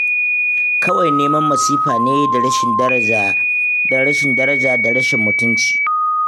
Kawai neman masifa ne da rashin daraja da rashin mutunci.